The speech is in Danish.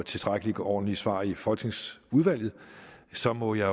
tilstrækkelig ordentlige svar i folketingsudvalget så må jeg